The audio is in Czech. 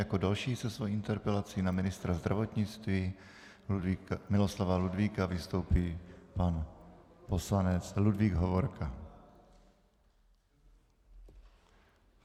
Jako další se svojí interpelací na ministra zdravotnictví Miloslava Ludvíka vystoupí pan poslanec Ludvík Hovorka.